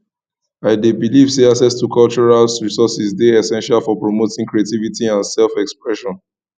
i dey believe say access to cultural resourses dey essential for promoting creativity and selfexpression